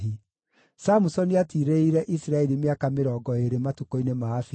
Samusoni aatiirĩrĩire Isiraeli mĩaka mĩrongo ĩĩrĩ matukũ-inĩ ma Afilisti.